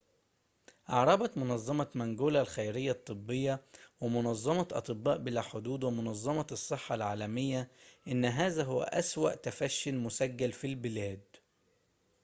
أعربت منظمة مانجولا الخيرية الطبية ومنظمة أطباء بلا حدود ومنظمة الصحة العالمية إن هذا هو أسوأ تفشٍ مسجل في البلاد